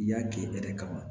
I y'a kɛ e yɛrɛ kama